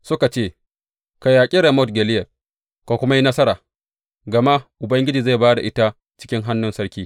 Suka ce, Ka yaƙi Ramot Gileyad, ka kuma yi nasara, gama Ubangiji zai ba da ita cikin hannun sarki.